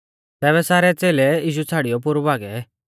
तैबै सारै च़ेलै यीशु छ़ाड़ियौ पोरु भागै